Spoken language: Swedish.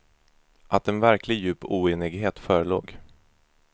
Att en verklig, djup oenighet förelåg.